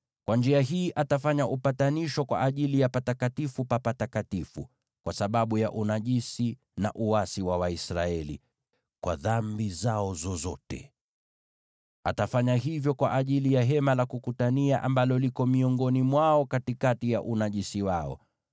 Kwa njia hii atafanya upatanisho kwa ajili ya Patakatifu pa Patakatifu kwa sababu ya unajisi na uasi wa Waisraeli, kwa dhambi zao zozote. Atafanya hivyo kwa ajili ya Hema la Kukutania, ambalo liko miongoni mwao katikati ya unajisi wao.